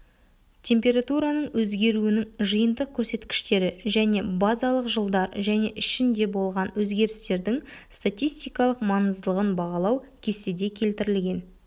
температураның өзгеруінің жиынтық көрсеткіштері және базалық жылдар және ішінде болған өзгерістердің статистикалық маңыздылығын бағалау кестеде келтірілген